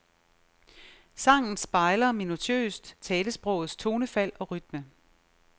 Sangen spejler minutiøst talesprogets tonefald og rytme.